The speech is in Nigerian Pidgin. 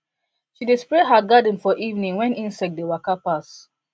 she dey spray her garden for evening when insect dey waka pass